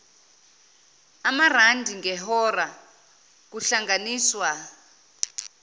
amarandi ngehora kuhlanganiswa